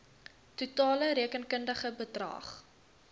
totale rekenkundige bedrag